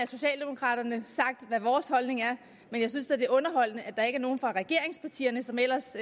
socialdemokraterne sagt hvad vores holdning er og jeg synes da er underholdende at der ikke er nogen fra regeringspartierne som ellers